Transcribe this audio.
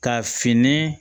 Ka fini